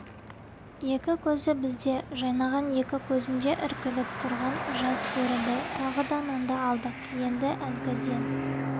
екі көзі бізде жайнаған екі көзінде іркіліп тұрған жас көрінді тағы да нанды алдық енді әлгіден